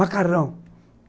Macarrão.